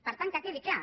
per tant que quedi clar